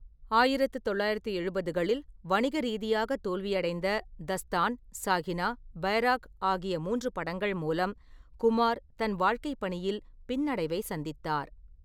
ஆயிரத்து தொள்ளாயிரத்து எழுபதுகளில் வணிக ரீதியாக தோல்வியடைந்த 'தஸ்தான்', 'சாகினா', 'பைராக்' ஆகிய மூன்று படங்கள் மூலம் குமார் தன் வாழ்கைப்பணியில் பின்னடைவை சந்தித்தார்.